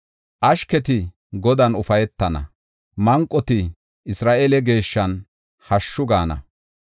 Ashketi Godan ufaytana; manqoti Isra7eele Geeshshan hashshu gaana.